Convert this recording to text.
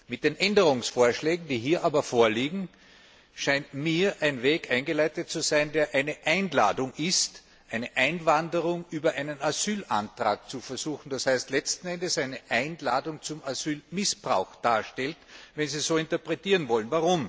Mit den Änderungsvorschlägen, die hier vorliegen, scheint mir aber ein Weg eingeleitet zu werden, der eine Einladung ist, eine Einwanderung über einen Asylantrag zu versuchen, das heißt, letzten Endes eine Einladung zum Asylmissbrauch darstellt, wenn Sie das so interpretieren wollen.